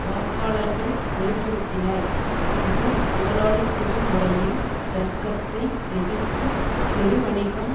வாக்காளர்கள் வெளி படுத்தினர் இது முதலாளித்துவ முறையின் தர்க்கத்தை எதிர்த்து பெருவணிகம்